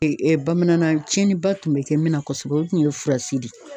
bamana nan tiɲɛniba tun be kɛ min na kɔsɛbɛ o tun ye furasi de ye.